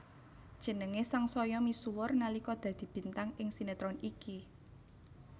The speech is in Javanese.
Jenengé sangsaya misuwur nalika dadi bintang ing sinetron iki